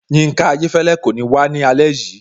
Yinka Ayéfẹ́lẹ́ kò ní wá ní alẹ́ yìí